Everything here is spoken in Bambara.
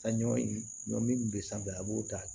Sanɲɔ ɲɔ min be sanfɛ a b'o ta